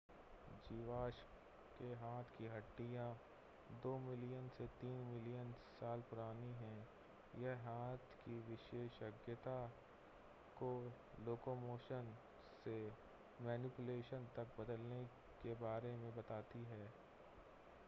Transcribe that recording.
जीवाश्म के हाथ की हड्डियां दो मिलियन से तीन मिलियन साल पुरानी हैं यह हाथ की विशेषज्ञता को लोकोमोशन से मैनिपुलेशन तक बदलने के बारे में बताती हैं